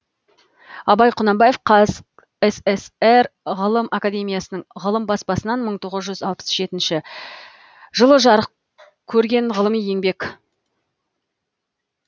абай құнанбаев қазсср ғылым академиясының ғылым баспасынан мың тоғыз жүз алпыс жетінші жылы жарық көрген ғылыми еңбек